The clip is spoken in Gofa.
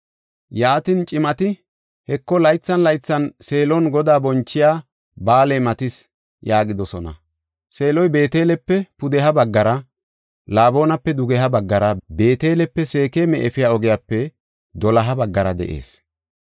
Yaatin, cimati, “Heko, laythan laythan Seelon Godaa bonchiya ba7aaley matis” yaagidosona. Seeloy Beetelepe pudeha baggara, Laboonape dugeha baggara, Beetelepe Seekema efiya ogiyape doloha baggara de7ees.